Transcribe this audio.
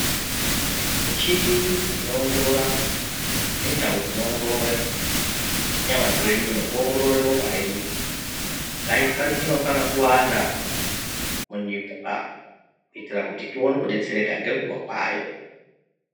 Michini inoongorore nendau dzinoongorore nyama dzedu nekuongorore ropa redu inofana kuwanda munyika kuti tione kudetsereka ngenguwa kwayo.